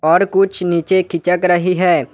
और कुछ नीचे खिचक रही है।